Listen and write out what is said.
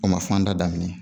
O ma fanda daminɛ